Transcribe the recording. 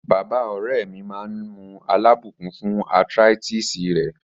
Baba ore mi maa n mu alabukun fun arthritis re